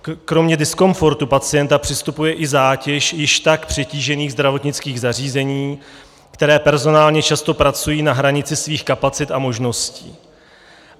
Kromě diskomfortu pacienta přistupuje i zátěž již tak přetížených zdravotnických zařízení, která personálně často pracují na hranici svých kapacit a možností.